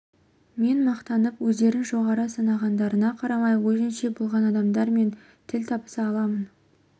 мен мақтанып өздерін жоғары санағандарына қарамай өзінше болған адамдар мен тіл табыса аламын